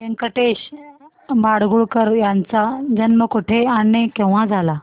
व्यंकटेश माडगूळकर यांचा जन्म कुठे आणि केव्हा झाला